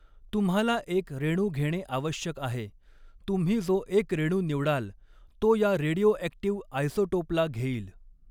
तुम्हाला एक रेणू घेणे आवश्यक आहे तुम्ही जो एक रेणू निवडाल तो या रेडिओअॕक्टिव्ह आयसोटोपला घेईल.